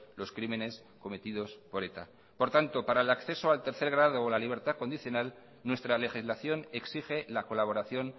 los crímenes cometidos por eta por tanto para el acceso al tercer grado o la libertad condicional nuestra legislación exige la colaboración